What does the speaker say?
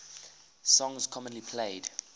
songs commonly played